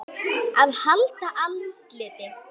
AÐ HALDA ANDLITI